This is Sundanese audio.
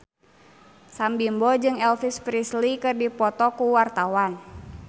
Sam Bimbo jeung Elvis Presley keur dipoto ku wartawan